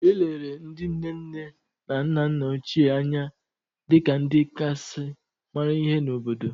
E lere ndị nne nne na nna nna ochie anya dị ka ndị kasị mara ihe n’obodo